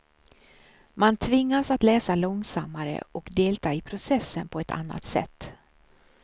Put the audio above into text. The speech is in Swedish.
Man tvingas att läsa långsammare och delta i processen på ett annat sätt.